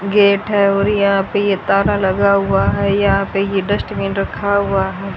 Gate है और यहां पे ये ताला लगा हुआ है यहां पे ये डस्टबिन रखा हुआ है।